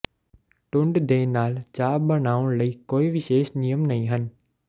ਟੁੰਡ ਦੇ ਨਾਲ ਚਾਹ ਬਣਾਉਣ ਲਈ ਕੋਈ ਵਿਸ਼ੇਸ਼ ਨਿਯਮ ਨਹੀਂ ਹਨ